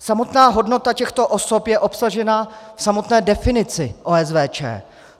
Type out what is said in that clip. Samotná hodnota těchto osob je obsažena v samotné definici OSVČ.